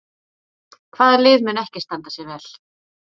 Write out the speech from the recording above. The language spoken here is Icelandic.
Hvaða lið mun ekki standa sig vel?